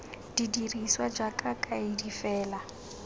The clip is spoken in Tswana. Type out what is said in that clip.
di dirisiwa jaaka kaedi fela